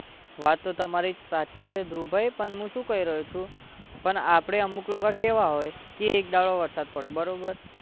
વાત તો તમારી સાચી છે ધ્રુવભાઈ પણ હું શું કહી રહ્યો છું પણ આપણે અમુક લોકો કેવા હોય કે એક દહાડો વરસાદ પડે બરોબર